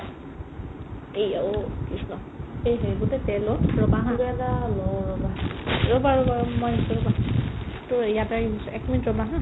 "এই আ ঔ কৃষ্ণ, সেই সেই গোটেই তেল অ গোটেতো জেগা ন অ ৰ'বা অ ইয়াতেই আহি পৰিছে এক minute ৰ'বা